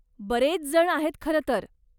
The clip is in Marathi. बरेच जण आहेत खरं तर.